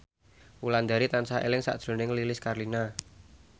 Wulandari tansah eling sakjroning Lilis Karlina